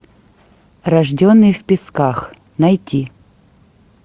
рожденный в песках найти